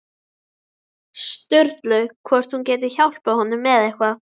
Sturlu hvort hún geti hjálpað honum með eitthvað.